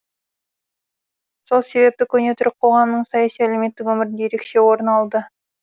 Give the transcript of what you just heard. сол себепті көне түрік қоғамының саяси әлеуметтік өмірінде ерекше орын алды